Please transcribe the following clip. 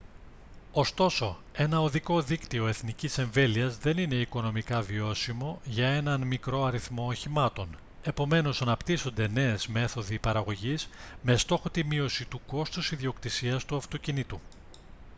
ωστόσο ένα οδικό δίκτυο εθνικής εμβέλειας δεν είναι οικονομικά βιώσιμο για έναν μικρό αριθμό οχημάτων επομένως αναπτύσσονται νέες μέθοδοι παραγωγής με στόχο τη μείωση του κόστους ιδιοκτησίας του αυτοκινήτου